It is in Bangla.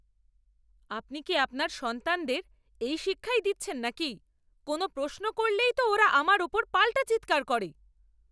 আপনি কি আপনার সন্তানদের এই শিক্ষাই দিচ্ছেন নাকি? কোনও প্রশ্ন করলেই তো ওরা আমার উপর পাল্টা চিৎকার করে।